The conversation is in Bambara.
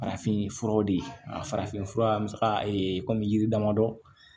Farafinfuraw de a farafin fura an bɛ se ka kɔmi yiri damadɔ